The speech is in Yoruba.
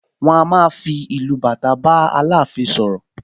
Wọ́n a máa fi ìlù bàtà bá Aláàfin sọ̀rọ̀